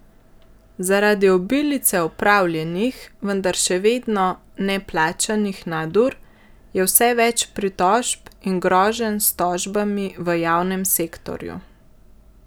Zaradi obilice opravljenih, vendar še vedno neplačanih nadur, je vse več pritožb in groženj s tožbami v javnem sektorju.